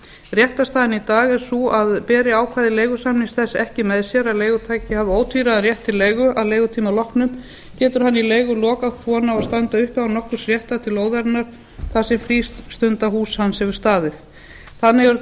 réttarstaðan í dag er sú að beri ákvæði leigusamnings þess ekki með sér að leigutaki hafi ótvíræðan rétt til leigu að leigutíma loknum getur hann í leigulok átt rétt á að standa uppi á nokkurs réttar til lóðarinnar þar sem frístundahús hans hefur staðið þannig eru